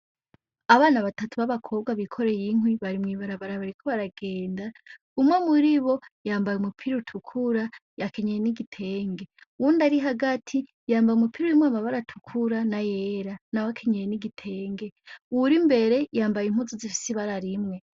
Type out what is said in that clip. Abana batatu babakobwa bikoreye inkwi bari mw'ibarabara bariko baragenda umwe muribo yambaye umupira utukura yakenyeye n'igitenge uwundi ari hagati yambaye umupira urimwo amabara atukura n'ayera nawe akenyeye n'igitenge uwuri imbere yambaye impuzu zifise ibara rimwe.